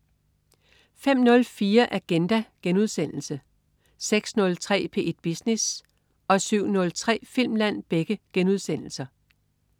05.04 Agenda* 06.03 P1 Business* 07.03 Filmland*